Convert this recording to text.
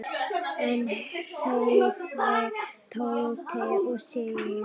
Enn hreyfði Tóti sig ekki.